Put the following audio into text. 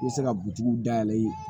I bɛ se ka dayɛlɛ